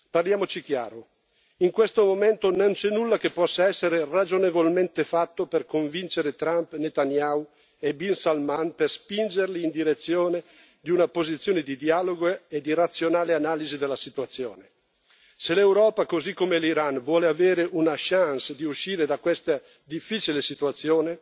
Parliamoci chiaro in questo momento, non c'è nulla che possa essere ragionevolmente fatto per convincere Trump, Netanyahu e Bin Salman per spingerli in direzione di una posizione di dialogo e di razionale analisi della situazione. Se l'Europa, così come l'Iran, vuole avere una chance di uscire da questa difficile situazione,